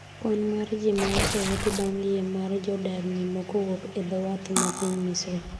kwan mar jii ma oseyudi bang' yie mar jodar nimo kowuok e dho wath ma piny misri